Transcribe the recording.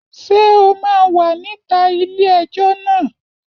Ṣé o máa wà níta ilé ẹjọ́ náà?